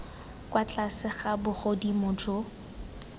kwa tlase ga bogodimo jo